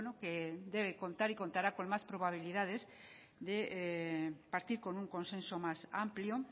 que debe contar y contará con más probabilidades de partir con un consenso más amplio